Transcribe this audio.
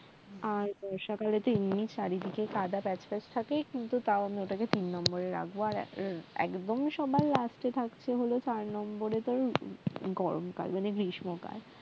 আর বর্ষা কালে তো এমনিই চারিদিকে কাঁদা প্যাচপ্যাচ থাকে কিন্তু তাও আমি ওটাকে তিন নম্বরে রাখব আর একদম সবার last এ থাকছে হলো চার নম্বরে তোর গরমকাল মানে গ্রীষ্মকাল